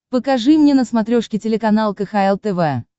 покажи мне на смотрешке телеканал кхл тв